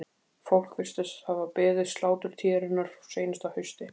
Fólk virtist hafa beðið sláturtíðarinnar frá seinasta hausti.